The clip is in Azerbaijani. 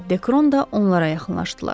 Və Dekron da onlara yaxınlaşdılar.